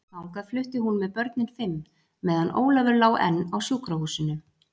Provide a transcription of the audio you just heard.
Þangað flutti hún með börnin fimm, meðan Ólafur lá enn á sjúkrahúsinu.